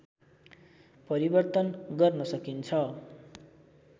परिवर्तन गर्न सकिन्छ